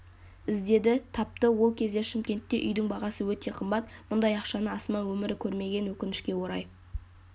іздеді тапты ол кезде шымкентте үйдің бағасы өте қымбат мұндай ақшаны асма өмірі көрмеген өкінішке орай